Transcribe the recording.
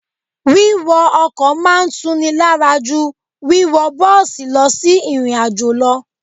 Wíwọ ọkọ̀ máa ń tuni lára jú wíwọ bọ́ọ̀sì lọ sí ìrìnàjò lọ.